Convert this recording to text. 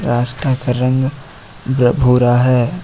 रास्ता का रंग ब्र भूरा है।